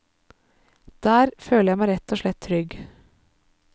Der føler jeg meg rett og slett trygg.